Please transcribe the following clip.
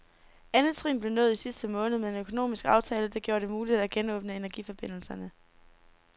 Andet trin blev nået i sidste måned med en økonomisk aftale, der gjorde det muligt at genåbne energiforbindelserne.